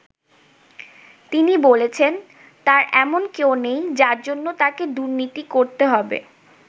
তিনি বলেছেন, তাঁর এমন কেউ নেই, যার জন্য তাঁকে দুর্নীতি করতে হবে।